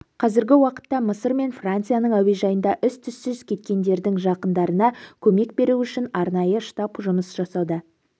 қазіргі уақытта мысыр мен францияның әуежайында із-түссіз кеткендердің жақындарына көмек беру үшін арнайы штаб жұмыс жасауда